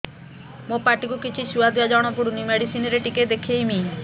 ମୋ ପାଟି କୁ କିଛି ସୁଆଦ ଜଣାପଡ଼ୁନି ମେଡିସିନ ରେ ଟିକେ ଦେଖେଇମି